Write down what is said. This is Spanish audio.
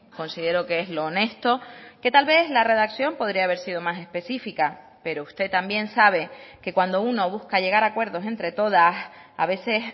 considero que es lo honesto que tal vez la redacción podría haber sido más específica pero usted también sabe que cuando uno busca llegar a acuerdos entre todas a veces